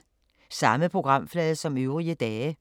Samme programflade som øvrige dage